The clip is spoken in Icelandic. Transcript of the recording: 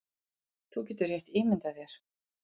Þú getur rétt ímyndað þér